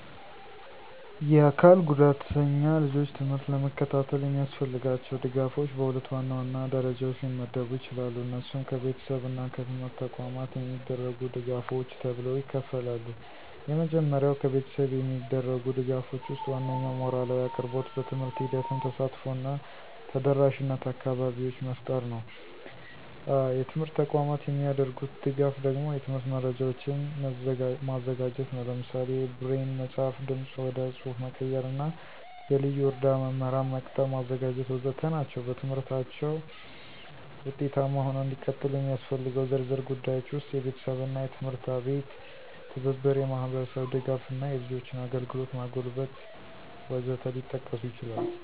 የአካል ጉዳተኛ ልጆች ትምህርት ለመከታተል የሚያስፈልጋቸው ድጋፎች በሁለት ዋናዋና ደረጃዎች ሊመደቡ ይችላሉ። እነሱም ከቤተሰብ እና ከትምህርት ተቋማት የሚደረጉ ድጋፎች ተብለው ይከፍላሉ። የመጀመሪያው ከቤተሰብ የሚደረጉ ድጋፎች ወስጥ ዋናኛው ሞራላዊ አቅርቦት፣ በትምህርት ሂደትም ተሳትፎ እና ተደረሻነት አካባቢዎች መፍጠር ነው። የትምርት ተቋማት የሚደርጉት ደጋፍ ደግሞ የትምህርት መረጃዎችን መዘጋጀት ነው። ለምሳሌ የብሬን መፅሐፍ፣ ድምፅ ወደ ፅሐፍ መቀየር እና የልዩ እርዳ መምህራን መቅጠር ማዘጋጀት.... ወዘተ ናቸው። በትምህርታችው ውጤታማ ሆነው እንዲቀጥሉ የሚስፈልገው ዝርዝር ጉዳዮች ውስጥ፦ የቤተሰብና የትምህርት አቤት ትብብር፣ የማህብርስብ ድጋፍ እና የልጆችን አግልግሎት ማጎልበት..... ወዘት ሊጠቀሱ ይችላሉ።